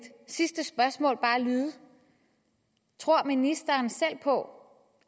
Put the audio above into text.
sidste spørgsmål bare lyde tror ministeren selv på